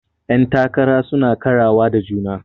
Yan takara suna karawa da juna.